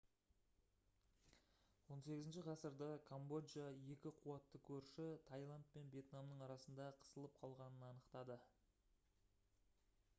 18 ғасырда камбоджа екі қуатты көрші тайланд пен вьетнамның арасында қысылып қалғанын анықтады